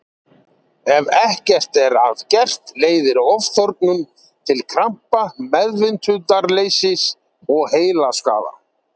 Ef ekkert er að gert leiðir ofþornun til krampa, meðvitundarleysis og heilaskaða.